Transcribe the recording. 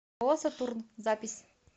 ооо сатурн запись